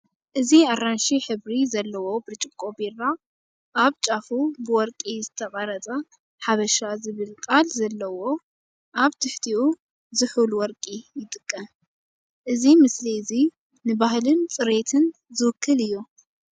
እዚ ኣራንሺ ሕብሪ ዘለዎ ብርጭቆ ቢራ፡ ኣብ ጫፉ ብወርቂ ዝተቐርጸ ‘ሓበሻ’ ዝብል ቃል ዘለዎ። ኣብ ትሕቲኡ ‘ዝሑል ወርቂ’ ይጥቀም፤ እዚ ምስሊ እዚ ንባህልን ጽሬትን ዝውክል እዩ።